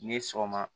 Ni sɔgɔma